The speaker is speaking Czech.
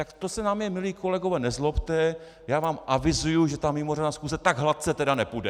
Tak to se na mě, milí kolegové, nezlobte, já vám avizuji, že ta mimořádná schůze tak hladce tedy nepůjde.